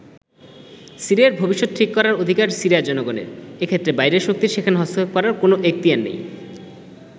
সিরিয়ার ভবিষ্যত ঠিক করার অধিকার সিরিয়ার জনগণের, এক্ষেত্রে বাইরের শক্তির সেখানে হস্তক্ষেপ করার কোন এখতিয়ার নেই।